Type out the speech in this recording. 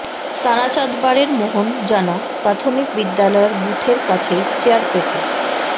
তারাচাঁদবাড়ের মোহন জানা প্রাথমিক বিদ্যালয়ের বুথের কাছেই চেয়ার পেতে